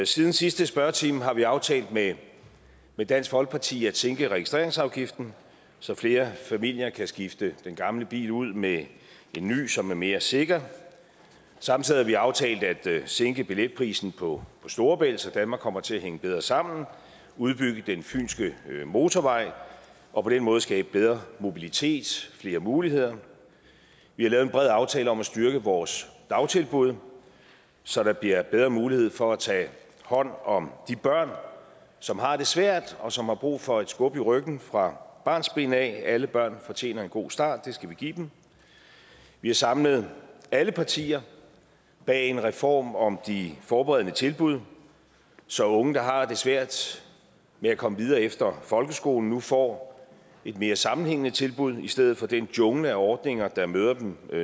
siden sidste spørgetime har vi aftalt med med dansk folkeparti at sænke registreringsafgiften så flere familier kan skifte den gamle bil ud med en ny som er mere sikker samtidig har vi aftalt at sænke billetprisen på storebælt så danmark kommer til at hænge bedre sammen udbygge den fynske motorvej og på den måde skabe bedre mobilitet flere muligheder vi har lavet en bred aftale om at styrke vores dagtilbud så der bliver bedre mulighed for at tage hånd om de børn som har det svært og som har brug for et skub i ryggen fra barnsben af alle børn fortjener en god start og det skal vi give dem vi har samlet alle partier bag en reform om de forberedende tilbud så unge der har det svært med at komme videre efter folkeskolen nu får et mere sammenhængende tilbud i stedet for den jungle af ordninger der møder dem